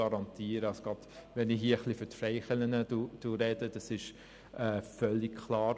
Wenn ich hier etwas für die Freikirchen spreche, ist das völlig klar.